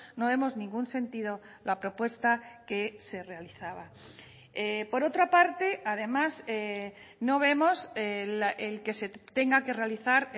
no vemos ningún sentido la propuesta que se realizaba por otra parte además no vemos el que se tenga que realizar